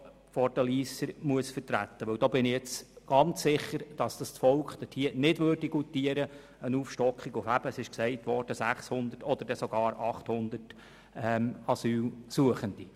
Ich bin ganz sicher, dass das Volk eine Aufstockung nicht schlucken würde, es wäre ja die Rede von 600 oder sogar 800 Asylsuchenden.